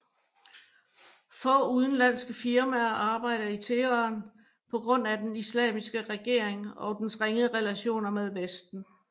Få udenlandske firmaer arbejder i Teheran på grund af den islamiske regering og dens ringe relationer med vesten